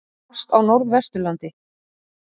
Hvasst á Norðvesturlandi